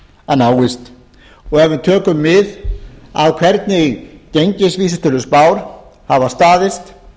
að náist og ef við tökum mið af hvernig gengisvísitöluspár hafa staðist